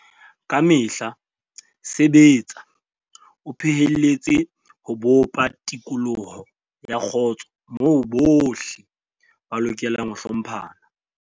Ka mehla sebetsa o phehelletse ho bopa tikoloho ya kgotso moo bohle ba lokelang ho hlomphana.